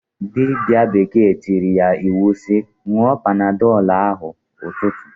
Dibia bekee tiiri ya iwu si, "nwụọ panadọl ahụ 'ụtụtụ!"